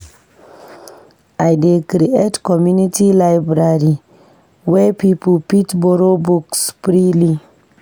I dey create community library where people fit borrow books freely.